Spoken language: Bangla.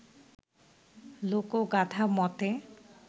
লোকোগাথা মতে